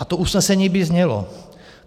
A to usnesení by znělo: